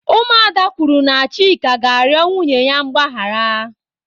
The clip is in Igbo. Ụmụ ada kwuru na Chika ga-arịọ nwunye ya mgbaghara.